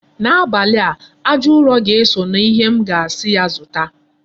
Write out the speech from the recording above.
N'abalị a, aja ụrọ ga-eso na ihe m ga-asi ya zụta.